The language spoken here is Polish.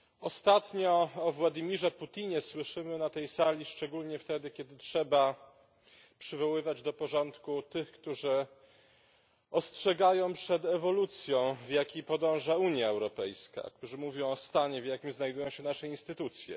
Ostatnio o Władimirze Putinie słyszymy na tej sali szczególnie wtedy, kiedy trzeba przywoływać do porządku tych, którzy ostrzegają przed ewolucją, ku jakiej podąża Unia Europejska, którzy mówią o stanie, w jakim znajdują się nasze instytucje.